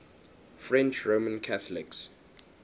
french roman catholics